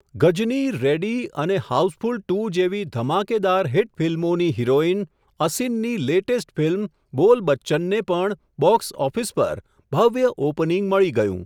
ગજની, Ready અને Housefull two hit ધમાકેદાર હિટ ફિલ્મોની હિરોઇન, અસિનની લેટેસ્ટ ફિલ્મ બોલ બચ્ચનને પણ બોક્સઓફિસ પર, ભવ્ય ઓપનિંગ મળી ગયું.